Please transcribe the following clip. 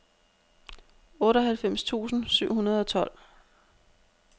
otteoghalvfems tusind syv hundrede og tolv